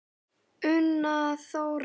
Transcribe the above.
Una Þórey.